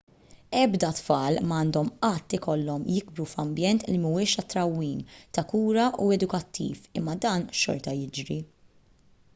ebda tfal ma għandhom qatt ikollhom jikbru f'ambjent li mhuwiex ta' trawwim ta' kura u edukattiv imma dan xorta jiġri